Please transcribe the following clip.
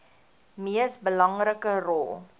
mees belangrike rol